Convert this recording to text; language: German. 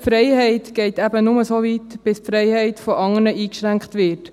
Die Freiheit geht eben nur so weit, bis die Freiheit anderer eingeschränkt wird.